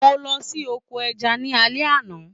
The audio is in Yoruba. Mo lọ sí oko ẹja ní alẹ́ àná.